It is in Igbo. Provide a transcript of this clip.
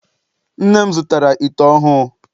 Nne m zụtara ite ọhụụ.